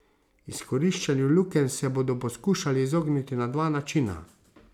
Izkoriščanju lukenj se bodo poskušali izogniti na dva načina.